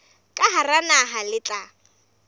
ka hara naha le tla